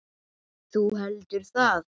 Þú heldur það?